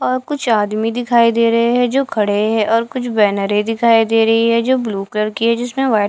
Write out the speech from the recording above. और कुछ आदमी दिखाई दे रहे हैं जो खड़े हैं और कुछ बैनरे दिखाई दे रही है जो ब्लू कलर की है जिसमें वाइट --